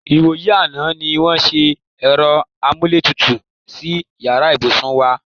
Ìwòyí àná ní wó̩n wá s̩e è̩ro̩ amúlétutù sí yàrá ìbùsùn wa.-